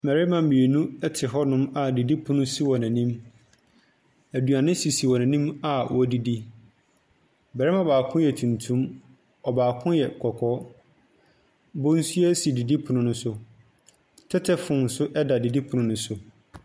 Bɛrema mienu ɛte hɔ nom a didi pono esi wɔn enim. Eduane sisi wɔn enim a wɔdidi, bɛrema baako yɛ tuntum, ɔbaako yɛ kɔkɔɔ, bonsua si didi pono ne so. Tetefon so ɛda didi pono ne so.